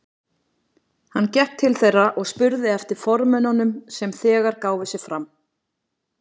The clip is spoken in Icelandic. Hann gekk til þeirra og spurði eftir formönnunum sem þegar gáfu sig fram.